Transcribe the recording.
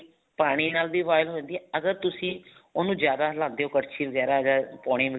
ਪਾਣੀ ਨਾਲ ਵੀ boil ਹੋ ਜਾਂਦੀ ਹੈ ਅਗਰ ਤੁਸੀਂ ਉਹਨੂੰ ਜਿਆਦਾ ਹਿੱਲਾਂਦੇ ਹੋ ਕੜਛੀ ਵਗੈਰਾ ਅਗਰ ਪਾਉਣੀ